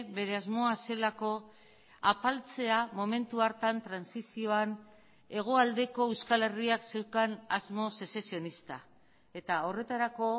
bere asmoa zelako apaltzea momentu hartan trantsizioan hegoaldeko euskal herriak zeukan asmo sezesionista eta horretarako